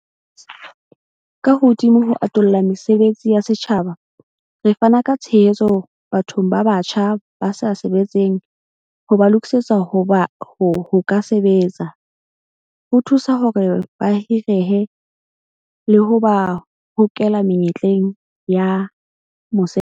Ka hodima ho atolla mesebetsi ya setjhaba, re fana ka tshehetso bathong ba batjha ba sa sebetseng ho ba lokisetsa ho ka sebetsa, ho thusa hore ba hirehe, le ho ba hokela menyetleng ya mosebetsi.